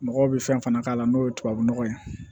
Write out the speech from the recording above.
Mɔgɔw bɛ fɛn fana k'a la n'o ye tubabu nɔgɔ ye